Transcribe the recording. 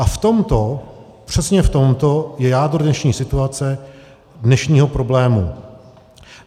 A v tomto, přesně v tomto je jádro dnešní situace, dnešního problému.